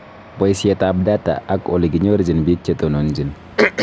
Boisietab data ak olekinyorjin biik chetononjin